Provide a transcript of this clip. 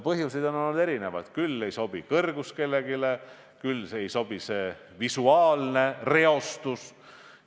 Põhjuseid on olnud erinevaid – küll ei sobi kõrgus, küll ei sobi visuaalne reostus.